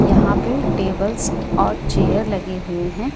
यहां पे टेबल्स और चेयर लगे हुए हैं।